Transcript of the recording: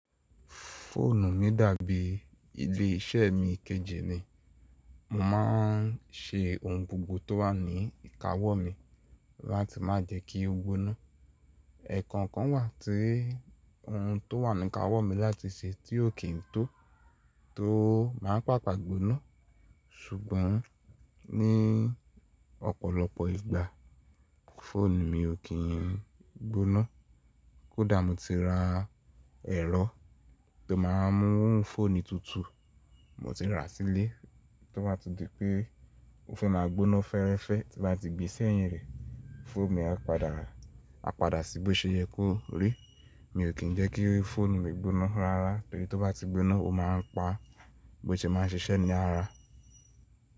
Fóònù mi dàbí ilé iṣẹ́ mi kejì ni. Mo má n ṣe ohun gbogbo tó wà ní ìkáwọ́ mi láti má jẹ kí ó gbóná. Ẹ̀kọ̀ọ̀kan wà tí ohun tó wà ní ìkáwọ́ mi láti ṣe tí ó kì ń tó, tó má pàpà gbóná. Ṣùgbọ́n ní ọ̀pọ̀lọpọ̀ ìgbà fóònù mi ò kín gbóná. Kódà mo ti ra ẹ̀rọ tó má ń mú fóònù tutù mo ti rà sílè, tó bá di pé ó fẹ́ má gbóná fẹ́ẹ́rẹ́fẹ́ tí bá ti gbe sẹ́yìn rẹ̀, fóònù mi á padà, á padà sí bí ó ṣe yẹ kó rí. Mi ò kín jẹ́ kí fóònù mi gbóná rárá torí tó bá ti gbóná ó má ń pa bó she má ń ṣiṣẹ́ ní àrà.